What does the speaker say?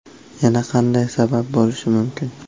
Yana qanday sabab bo‘lishi mumkin?